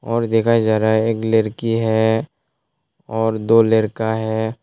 और देखा जा रहा है एक लड़की है और दो लड़का है।